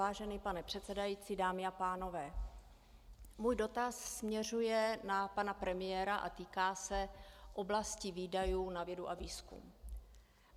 Vážený pane předsedající, dámy a pánové, můj dotaz směřuje na pana premiéra a týká se oblasti výdajů na vědu a výzkum.